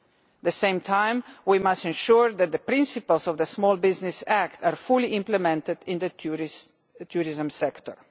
At the same time we must ensure that the principles of the Small Business Act are fully implemented in the tourism sector.